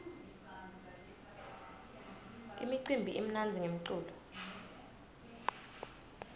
imicimbi imnandzi ngemculo